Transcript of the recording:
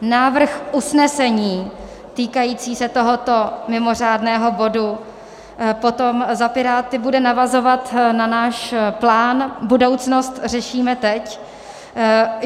Návrh usnesení týkající se tohoto mimořádného bodu potom za Piráty bude navazovat na náš plán Budoucnost řešíme teď.